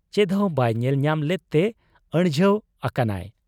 ᱪᱮᱫᱦᱚᱸ ᱵᱟᱭ ᱧᱮᱞ ᱧᱟᱢ ᱞᱮᱫᱛᱮ ᱟᱹᱲᱡᱷᱟᱹᱣ ᱟᱠᱟᱱᱟᱭ ᱾